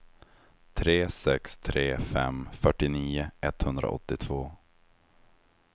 tre sex tre fem fyrtionio etthundraåttiotvå